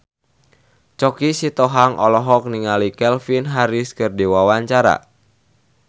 Choky Sitohang olohok ningali Calvin Harris keur diwawancara